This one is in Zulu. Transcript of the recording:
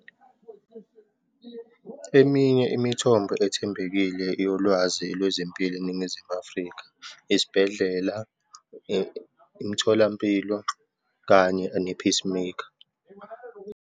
Eminye imithombo ethembekile yolwazi lwezempilo eNingizimu Afrika, isibhedlela, imitholampilo kanye ne-Peacemaker.